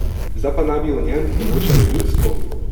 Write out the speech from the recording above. Zdaj pa naj bi o njem odločalo ljudstvo?